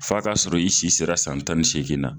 F'a ka sɔrɔ i si sera san tan ani segin na.